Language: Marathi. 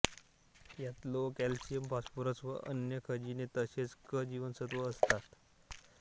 यात लोह कॅल्शियम फॉस्फरस व अन्य खनिजे तसेच क जीवनसत्व असतात